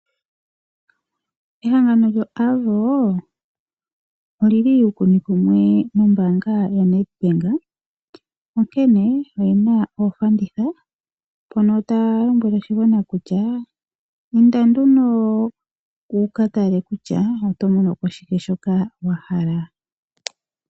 Ehangano lyo Avo oli li uukuni kumwe nombaanga ya NedBank, onkene oye na oofanditha, mpono taya lombwele oshigwana kutya inda nduno wu ka yale kutya oto mono ko shike shoka wa hala.